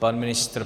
Pan ministr?